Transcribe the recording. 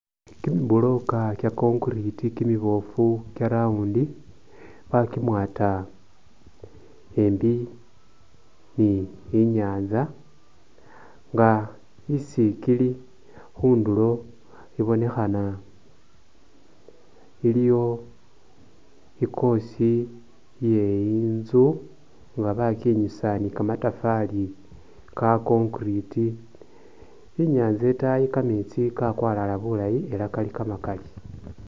Kimi'broka kye concrete kimibofu kye round bakimwata embi ni inyanza nga isi kili khundulo ibonekhana iliyo i'course iye inzu bakinyusa ni kamatafari ka concrete ,inyanza etayi kametsi kakwalala bulayi ela kali kamakali